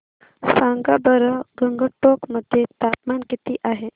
सांगा बरं गंगटोक मध्ये तापमान किती आहे